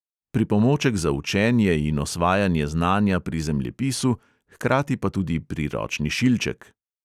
Pripomoček za učenje in osvajanje znanja pri zemljepisu, hkrati pa tudi priročni šilček.